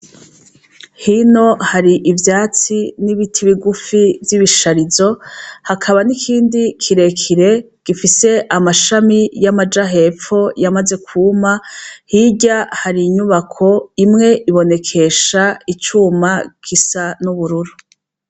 Hino hari ivyatsi n'ibiti bigufi vy'ibisharizo, hakaba n'ikindi kirekire gifise amashami y'amaja hepfo yamaze kwuma, hirya hari inyubako. Imwe ibonekesha icuma gisa n'ubururu.